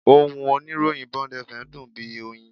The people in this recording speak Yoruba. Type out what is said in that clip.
Ohùn oníròyìn Bond FM dùn bí oyin